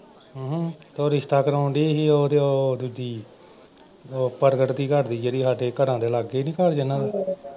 ਅਮ ਤੇ ਉਹ ਰਿਸ਼ਤਾ ਕਰਾਉਣ ਡਈ ਸੀ ਉਹ ਅਹ ਦੂਜੀ। ਉਹ ਪ੍ਰਗਟ ਦੀ ਘਰਦੀ ਜਿਹੜੀ ਸਾਡੇ ਘਰਾਂ ਦੇ ਲਾਗੇ ਨਈਂ ਘਰ ਜਿਨ੍ਹਾਂ ਦੇ।